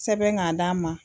Sɛbɛn k'a d'an ma.